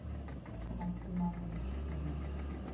максимальный экстрим